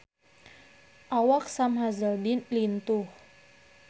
Awak Sam Hazeldine lintuh